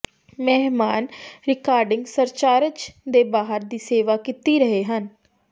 ਮਹਿਮਾਨ recording surcharge ਦੇ ਬਾਹਰ ਦੀ ਸੇਵਾ ਕੀਤੀ ਰਹੇ ਹਨ